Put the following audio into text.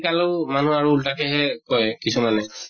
শিকালো মানুহ আৰু উল্টাকেহে কয় কিছুমানে